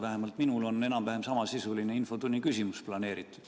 Vähemalt minul on enam-vähem samasisuline infotunni küsimus kavas.